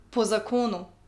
Po zakonu!